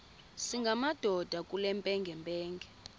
singamadoda kule mpengempenge